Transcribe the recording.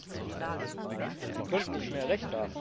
Sie könnten nicht mehr Recht haben, verehrter Kollege.